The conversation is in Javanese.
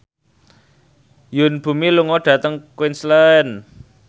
Yoon Bomi lunga dhateng Queensland